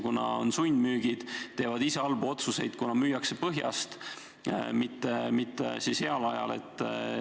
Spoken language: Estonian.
Järgnevad sundmüügid, tehakse halbu otsuseid, kuna müüakse languses, mitte heal ajal.